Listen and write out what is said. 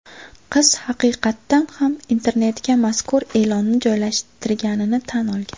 Qiz haqiqatan ham internetga mazkur e’lonni joylashtirganini tan olgan.